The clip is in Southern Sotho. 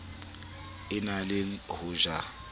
e na le ho ja